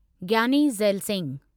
Giani Zail Singh